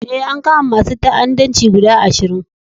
Eh, an kama masun ta'addanci guda ashirin.